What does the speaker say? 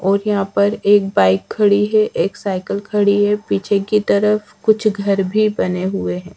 और यहां पर एक बाइक खड़ी है एक साइकिल खड़ी है पीछे की तरफ कुछ घर भी बने हुए हैं।